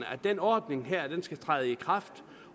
at den ordning her skal træde i kraft